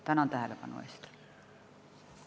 Tänan tähelepanu eest!